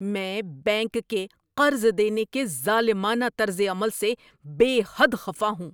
میں بینک کے قرض دینے کے ظالمانہ طرز عمل سے بے حد خفا ہوں۔